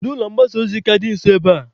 Kedu ụlọ mgbasa ozi ka dị nso ebe a?